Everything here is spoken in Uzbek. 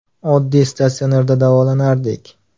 Oddiy statsionarda davolardik.